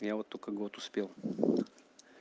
я вот только год успел